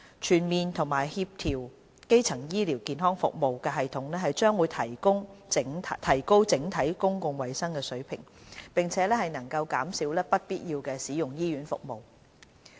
全面和協調的基層醫療服務系統將提高整體公共衞生水平，並且能減少不必要地使用醫院服務。